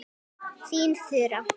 Þín Þura.